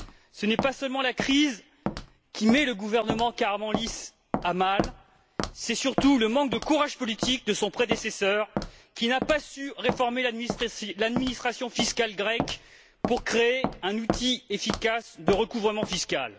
Ce n'est pas seulement la crise qui met le gouvernement Karamanlis à mal, c'est surtout le manque de courage politique de son prédécesseur qui n'a pas su réformer l'administration fiscale grecque pour créer un outil efficace de recouvrement fiscal.